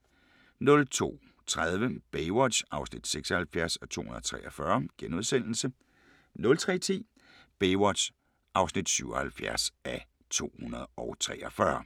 02:30: Baywatch (76:243)* 03:10: Baywatch (77:243)